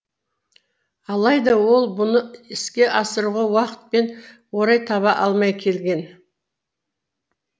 алайда ол бұны іске асыруға уақыт пен орай таба алмай келген